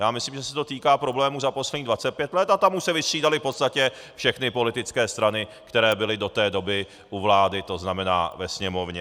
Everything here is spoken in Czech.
Já myslím, že se to týká problému za posledních 25 let, a tam už se vystřídaly v podstatě všechny politické strany, které byly do té doby u vlády, to znamená ve Sněmovně.